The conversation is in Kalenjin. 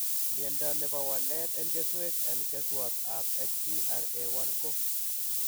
Miondo nebo walet en keswek en keswat ab HTRA1 ko